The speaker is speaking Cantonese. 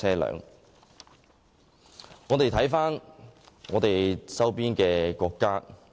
讓我們看看周邊國家。